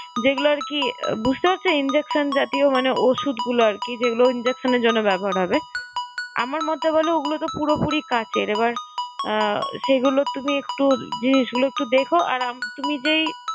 যেগুলো আরকি বুঝতে পারছো injection জাতীয় মানে ওষুধগুলো আর কি, যেগুলো injection এর জন্যে ব্যবহার হবে। আমার মতে বলো ওগুলো তো পুরোপুরি কাঁচের, এবার আহ সেগুলো তুমি একটু জিনিসগুলো একটু দেখো আর আম~ তুমি যেই